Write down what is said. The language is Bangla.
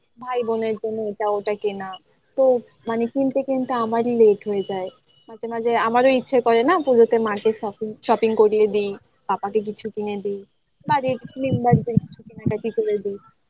ভাই বোনের জন্য এটা ওটা কেনা তো মানে কিনতে কিন্তু আমারই late হয়ে যায় মাঝে মাঝে আমারও ইচ্ছে করে না পুজোতে market shopping shopping করিয়ে দিই পাপাকে কিছু কিনে দিই budget বাঁচবে কিছু কেনাকাটি করে দিই